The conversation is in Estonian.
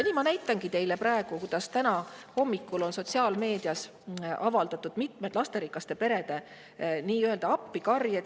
Nüüd ma näitangi teile täna hommikul sotsiaalmeedias avaldatud lasterikaste perede appikarjeid.